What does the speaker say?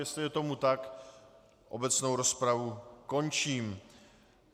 Jestli je tomu tak, obecnou rozpravu končím.